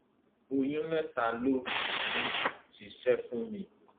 oyún mẹta ló um ti ṣe fún mi